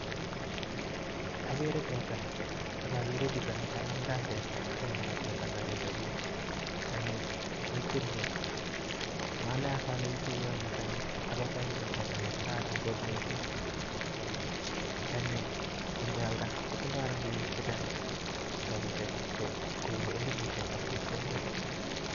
Agere teta, akagere Chito Nikanam kambet akorat teta nemtitei karit orit tanyii kekwerie mnae as ale kikwerie ano tanyi ako tanyi kokaran mising ako tanyi ngealda kotindai rapinik chechang rapishek chekonu rapinik chechang